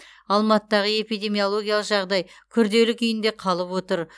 алматыдағы эпидемиологиялық жағдай күрделі күйінде қалып отыр